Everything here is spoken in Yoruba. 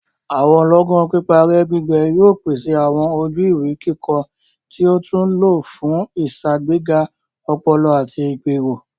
Awọn lọọgan piparẹ-gbigbẹ yóò pèsè awọn ojú-ìwé kíkọ tí a tún lo fún iṣagbega ọpọlọ ati igbero.